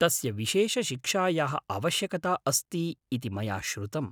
तस्य विशेषशिक्षायाः आवश्यकता अस्ति इति मया श्रुतम्।